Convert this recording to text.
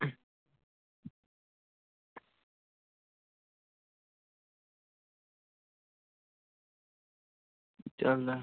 ਚੱਲ